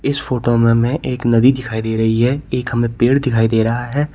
इस फोटो में हमें एक नदी दिखाई दे रही है। एक हमें पेड़ दिखाई दे रहा है।